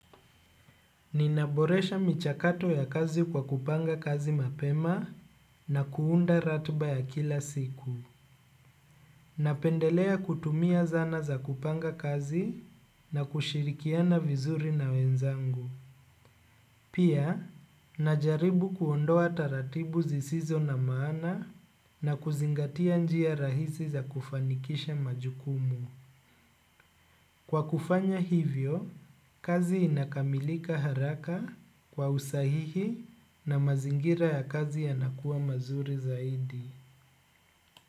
Ninaboresha michakato ya kazi kwa kupanga kazi mapema na kuunda ratba ya kila siku. Napendelea kutumia zana za kupanga kazi na kushirikiana vizuri na wenzangu. Pia, najaribu kuondoa taratibu zisizo na maana na kuzingatia njia rahisi za kufanikisha majukumu. Kwa kufanya hivyo, kazi inakamilika haraka kwa usahihi na mazingira ya kazi yanakuwa mazuri zaidi.